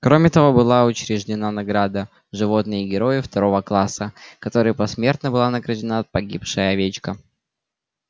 кроме того была учреждена награда животное герой второго класса которой посмертно была награждена погибшая овечка